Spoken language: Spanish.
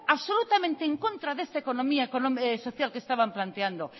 absolutamente en contra de esta economía social que estaban planteando